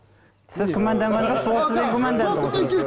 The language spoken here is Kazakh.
сіз күмәнданған жоқсыз ол сізден күманданды